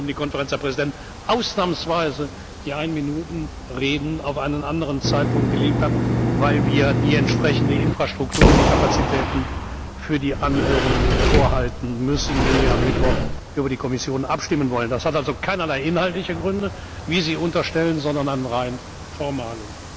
Das war der Grund, warum die Konferenz der Präsidenten ausnahmsweise die Ein Minuten Reden auf einen anderen Zeitpunkt gelegt hat, weil wir die entsprechende Infrastruktur und die Kapazitäten den Anhörungen vorbehalten müssen, wenn wir am Mittwoch über die Kommission abstimmen wollen. Das hat also keinerlei inhaltliche Gründe, wie Sie unterstellen, sondern rein formale.